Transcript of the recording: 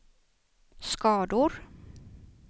skador